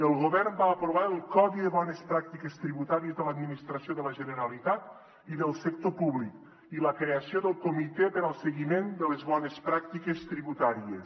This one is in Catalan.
el govern va aprovar el codi de bones pràctiques tributàries de l’administració de la generalitat i del sector públic i la creació del comitè per al seguiment de les bones pràctiques tributàries